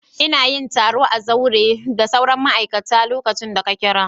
Ina yin taro a zaure tare da sauran ma'aikata lokacin da ka kira.